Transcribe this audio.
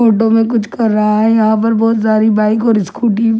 में कुछ कर रहा है यहां पर बहुत सारी बाइक और स्कूटी --